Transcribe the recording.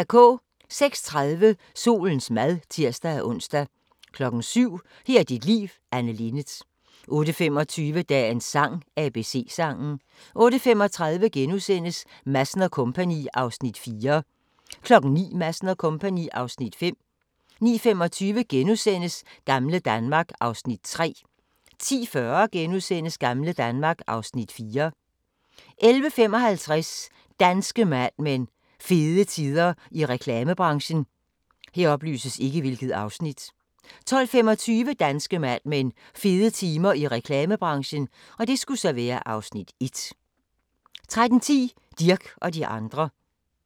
06:30: Solens mad (tir-ons) 07:00: Her er dit liv – Anne Linnet 08:25: Dagens sang: ABC-sangen 08:35: Madsen & Co. (Afs. 4)* 09:00: Madsen & Co. (Afs. 5) 09:25: Gamle Danmark (Afs. 3)* 10:40: Gamle Danmark (Afs. 4)* 11:55: Danske Mad Men: Fede tider i reklamebranchen 12:25: Danske Mad Men: Fede tider i reklamebranchen (Afs. 1) 13:10: Dirch og de andre